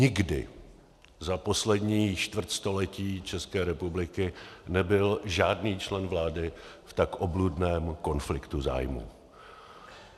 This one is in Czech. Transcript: Nikdy za poslední čtvrtstoletí České republiky nebyl žádný člen vlády v tak obludném konfliktu zájmů.